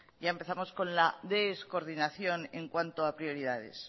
ya empezamos con la descoordinación en cuanto a prioridades